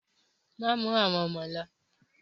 Má mú àwọn ọmọ lo!